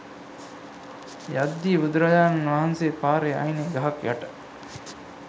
යද්දි බුදුරජාණන් වහන්සේ පාරේ අයිනේ ගහක් යට